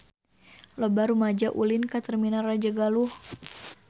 Loba rumaja ulin ka Terminal Rajagaluh